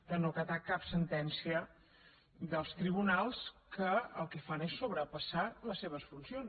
de no acatar cap sentència dels tribunals que el que fan és sobrepassar les seves funcions